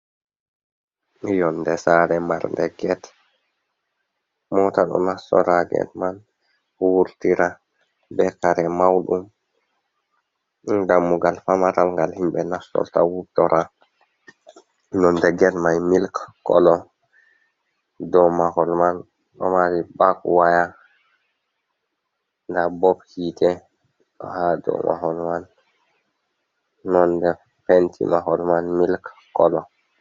Nyonde sare marde gate. Mota do nastora ha gate man wurtira be kare maudum. Dammugal famaral ngal himɓe nastorta wutora. Nonde gate mai milk color, dau mahol man do mari barbedwire. Nda bulb hite ha dau mahol man nonɗe penti mahol man milk color.